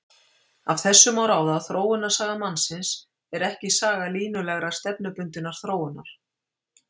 Af þessu má ráða að þróunarsaga mannsins er ekki saga línulegrar, stefnubundinnar þróunar.